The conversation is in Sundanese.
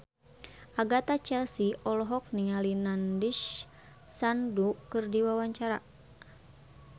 Agatha Chelsea olohok ningali Nandish Sandhu keur diwawancara